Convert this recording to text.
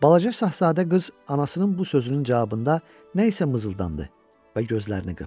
Balaca şahzadə qız anasının bu sözünün cavabında nə isə mızıldandı və gözlərini qıpdı.